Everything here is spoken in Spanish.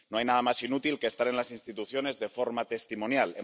No hay nada más inútil que estar en las instituciones de forma testimonial.